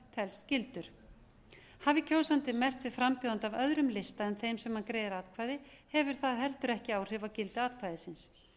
telst gildur hafi kjósandi merkt við frambjóðanda af öðrum lista en þeim sem hann greiðir atkvæði hefur það heldur ekki áhrif á gildi atkvæðisins